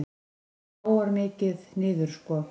Það róar mikið niður sko.